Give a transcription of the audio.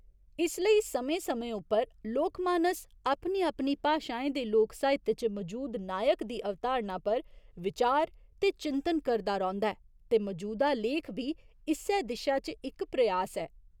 इस लेई समें समें उप्पर लोकमानस अपनी अपनी भाशाएं दे लोक साहित्य च मजूद नायक दी अवधारणा पर विचार ते चिंतन करदा रौंह्दा ऐ ते मजूदा लेख बी इस्सै दिशा च इक प्रयास ऐ।